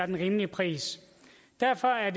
den rimelige pris derfor er